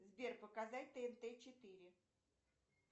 сбер показать тнт четыре